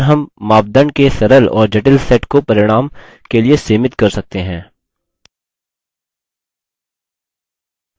यहीं पर हम मापदंड के सरल और जटिल set को परिणाम के लिए limit कर सकते हैं